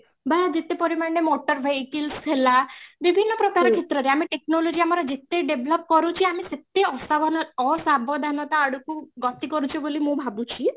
ବା ଯେତେ ପରିମାଣରେ motor vehicles ହେଲା ବିବିଭିନ୍ନ ପ୍ରକାର ର କ୍ଷେତ୍ରରେ ଆମ technology ଆମର ଯେତେ develop କରୁଛି ଆମେ ସେତେ ଅସାବଧାନତା ଆଡକୁ ଗତି କରୁଛୁ ବୋଲି ମୁଁ ଭାବୁଛି